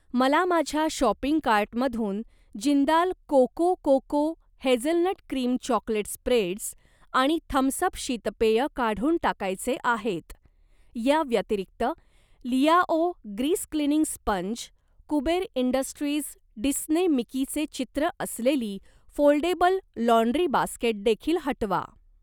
मला माझ्या शॉपिंग कार्टमधून Jindal coco coco hazelnut cream chocolate spreads आणि थम्स अप शीतपेय काढून टाकायचे आहेत. या व्यतिरिक्त, Liao grease cleaning sponge, Kuber industries Disney Mickey चे चित्र असलेली फोल्डेबल लाँड्री बास्केट देखील हटवा.